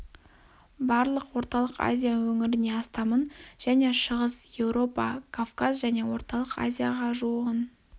барлық орталық азия өңіріне астамын әжне шығыс еуропа кавказ және орталық азияға ға жуығын